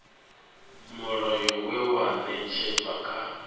mulayo we wa ṅetshedzwa kha